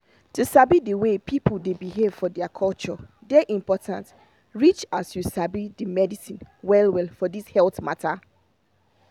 to sabi de way people dey behave for their culture dey important reach as you sabi the medicine well well for this health mata